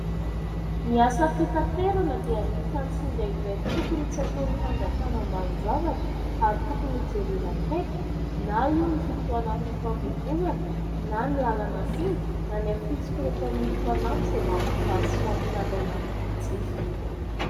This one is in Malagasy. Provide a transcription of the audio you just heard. Ny asa fitaterana dia anisany singa iray tokony tsy ataon'ny fanjakana ambanin'ny zavatra ary tokony hojerena akaiky, na io ny fotoana fifamoivozana na ny lalana singa na ny afitsok'ireo mpamily mpanampy izay mampijaly sy mampitaraina ny mpanjify.